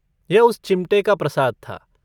यह उस चिमटे का प्रसाद था।